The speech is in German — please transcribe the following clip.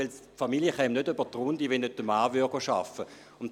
Die Familie käme nicht über die Runden, wenn der Mann nicht arbeiten ginge.